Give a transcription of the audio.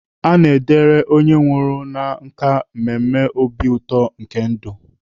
A na-edere onye nwụrụ na nkà mmemme obi ụtọ nke ndụ.